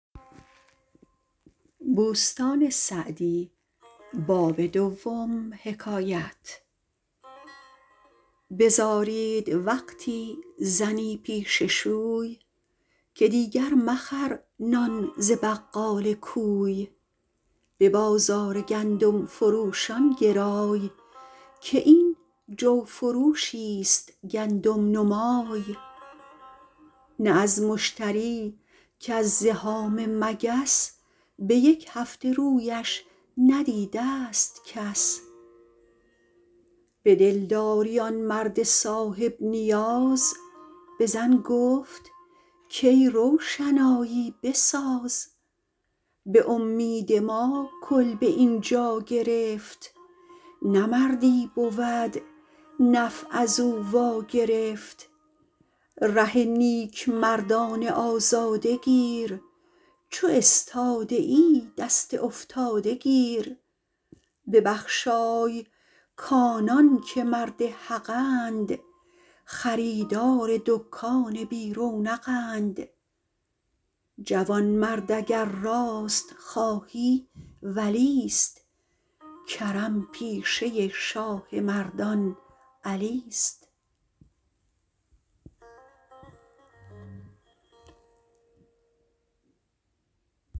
بزارید وقتی زنی پیش شوی که دیگر مخر نان ز بقال کوی به بازار گندم فروشان گرای که این جو فروشی ست گندم نما ی نه از مشتری کز زحام مگس به یک هفته رویش ندیده ست کس به دلداری آن مرد صاحب نیاز به زن گفت کای روشنایی بساز به امید ما کلبه اینجا گرفت نه مردی بود نفع از او وا گرفت ره نیک مردان آزاده گیر چو استاده ای دست افتاده گیر ببخشای کآنان که مرد حقند خریدار دکان بی رونق ند جوانمرد اگر راست خواهی ولی ست کرم پیشه شاه مردان علی ست